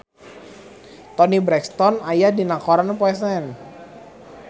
Toni Brexton aya dina koran poe Senen